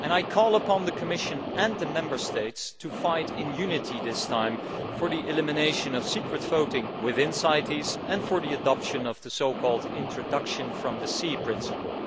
I call upon the Commission and the Member States to fight, in unity this time, for the elimination of secret voting within CITES and for the adoption of the introduction from the sea' principle.